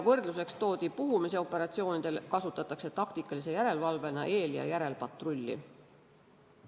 Võrdluseks toodi, et puhumisoperatsioonidel kasutatakse taktikalise järelevalvena eel- ja järelpatrulli.